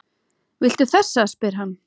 Viltu þessa? spyr hann.